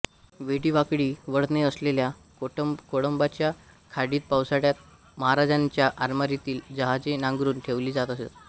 वेडीवाकडी वळणे असलेल्या कोळंबच्या खाडीत पावसाळ्यात महाराजांच्या आरमारातील जहाजे नांगरून ठेवली जात असत